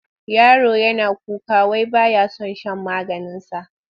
Yaron yana kuka wai ba ya son shan maganinsa.